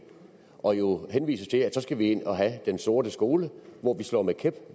og som jo henviser til at så skal vi ind og have den sorte skole hvor man slår med kæp